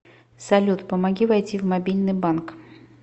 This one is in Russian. салют помоги войти в мобильный банк